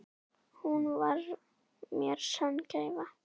Hún var mér sönn gæfa.